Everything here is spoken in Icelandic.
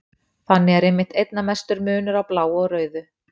Þannig er einmitt einna mestur munur á bláu og rauðu.